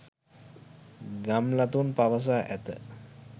ගම්ලතුන් පවසා ඇත